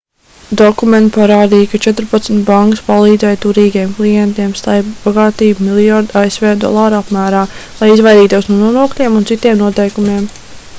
dokumenti parādīja ka četrpadsmit bankas palīdzēja turīgiem klientiem slēpt bagātību miljardu asv dolāru apmērā lai izvairītos no nodokļiem un citiem noteikumiem